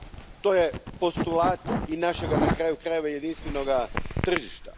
To je postulat i našega, na kraju krajeva, jedinstvenoga tržišta.